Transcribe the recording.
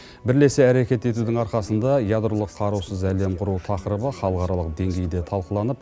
бірлесе әрекет етудің арқасында ядролық қарусыз әлем құру тақырыбы халықаралық деңгейде талқыланып